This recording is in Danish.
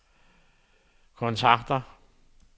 kontakter